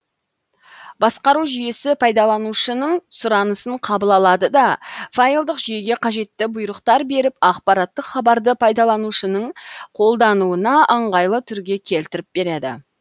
басқару жүйесі пайдаланушының сұранысын қабыл алады да файлдық жүйеге қажетті бұйрықтар беріп ақпараттық хабарды пайдаланушының қолдануына ыңғайлы түрге келтіріп береді